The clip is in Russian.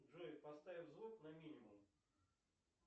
джой поставь звук на минимум